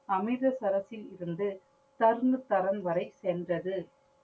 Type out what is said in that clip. அமிர்த சரஸ்யில் இருந்து தர்ன்னு தரன் வரை சென்றது.